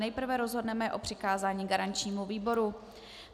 Nejprve rozhodneme o přikázání garančnímu výboru.